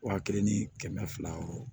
Wa kelen ni kɛmɛ fila wɔɔrɔ